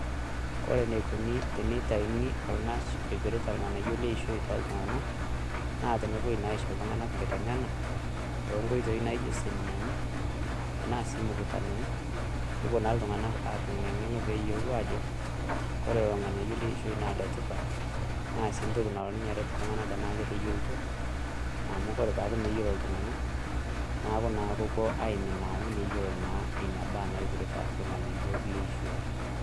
Kore eneikoni tenitayuni orng'ash oipirta irng'anayio leishoi toltung'anak, naa tenepuoi naa aisho iltung'anak enkiteng'ena, tonkoitoi naijo seminani, enaa si mkutanoni, popuo na iltung'anak atum ina ng'eno peeyiolou ajo, kore irng'anayio leishoi na letipat, na si ntoki nalo ninye aret iltung'anak tenaa keteyiolito. Amu kore pooku moyiolo iltung'anak, naaku naa kopuo aiminaa amu meyiolo naa inabaa naipirta irng'anayio leishoi.